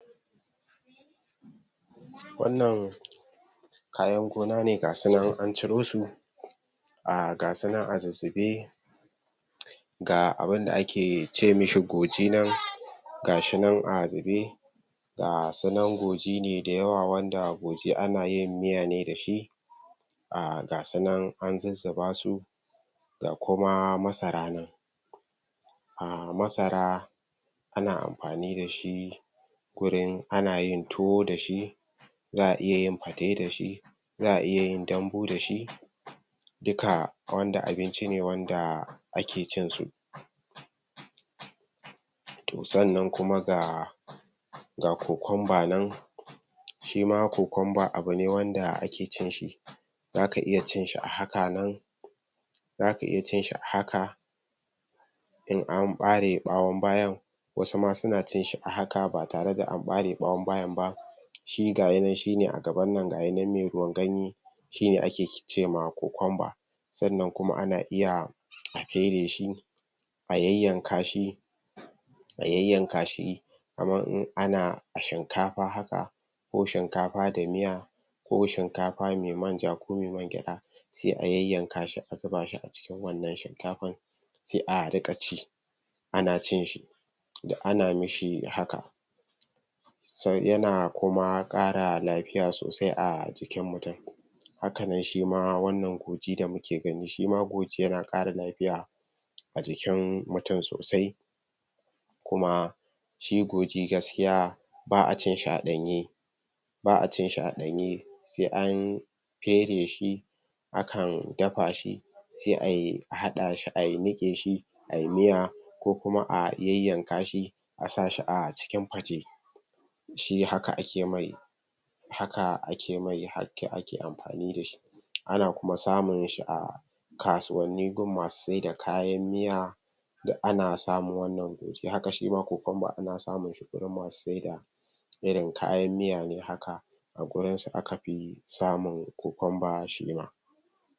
Wannan kayan gona ne ga su nan an ciro su, ah ga su nan a zuzzube, ga abinda ake ce mishi goji nan, ga shi nan a zube, ga su nan goji ne da yawa wanda goji ana yin miya da shi, ah ga su nan a zuzzuba su, ga kuma masara Ahh masara ana amfani da shi, gurin, anayin tuwo da shi, za'a iya yin fate da shi, za'a iya yin dambu da shi, duka wanda abinci ne wanda ake cinsu. To sannan kuma ga, cucumber nan, shima cucumber abu ne wanda ake cin shi, zaka iya cin shi a haka nan zaka iya cin shi a haka, in an ɓare bayan ɓawon, wasu ma suna cin shi a haka ba tare da am ɓare bayan ɓawon ba shi gayi nan shi ne a gaban nan shine mai ruwan ganye, shine ake ce ma cucumber. Sannan kuma ana iya a fere shi, a yayyanka shi, a yayyanka shi, kaman in ana shinkafa haka, ko shinkafa da miya, ko shinkafa mai manja ko mai mangyaɗa, sai a yayyanka shi a zuba shi a cikin wannan shinkafar, sai a riƙa ci, ana cin shi, duk ana mishi hakan yana kuma ƙara lafiya sosai a jkin mutum, hakanan shi ma wannan goji da muke gani, shima goji yana ƙara lafiya, a jikin mutum sosai, kuma, shi goji gaskiya, ba'a cin shi a ɗanye, ba'a cin shi a ɗanye sa an fere shi, akan dafa shi, sai a aɗa shi a niƙe shi ai miya, ko kuma a yayyanka shi, a sa shi a cikin fate. Shi haka akle mai, haka ake amfani da shi, ana kuma samun shi a kasuwanni gun masu sai da kayan miya, duk ana samun wannan goji, haka shi ma cucumber, ana samin shu gurin masu sai da irin kayan miya ne haka, a gurin su aka fi samun cucumber shima.